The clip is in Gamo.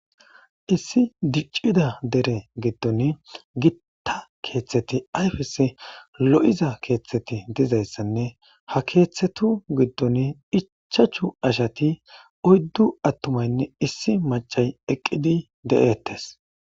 Issi diccida kettaththa gudonni ayfessi loo'Za keththati dizaysane ha keththathu giddoni ichchachchu asatine oyddu aatumayne issi maccay eqidi deetes